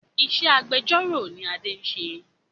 Ìṣe agbẹjọ́ró ni Adé ń ṣe